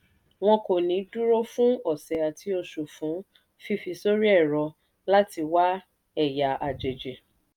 wọn kò ní dúró fún ọ̀sẹ̀ àti oṣù fún fífi sórí ẹ̀rọ láti wá ẹ̀yà àjèjì.